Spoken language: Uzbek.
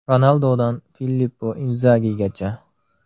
Ronaldodan Filippo Inzagigacha.